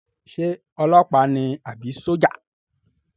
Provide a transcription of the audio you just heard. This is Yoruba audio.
Ṣé ọlọpa ni àbí sójà?